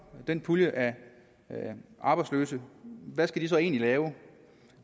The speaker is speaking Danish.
den pulje af arbejdsløse hvad skal de så egentlig lave